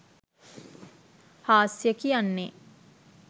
හාස්‍යය කියන්නෙ